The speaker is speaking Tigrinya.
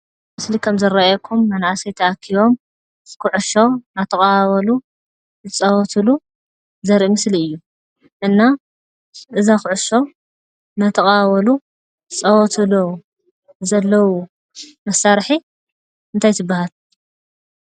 ምስሊ ከም ዝረአየኩም መናእሰይ ተኣኪቦም ኩዕሾ እናተቀባበሉ ዝፃወትሉ ዘርኢ ምስሊ እዩ፡፡ እና እዛ ኩዕሶ እናተቀባበሉ ዝፃወትሉ ዘለዉ መሳርሒ እንታይ ትባሃል?